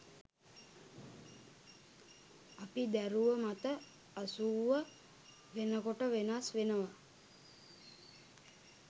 අපි දැරුව මත අසූව වෙනකොට වෙනස් වෙනවා